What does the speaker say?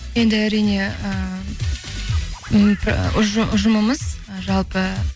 енді әрине ы ұжымымыз жалпы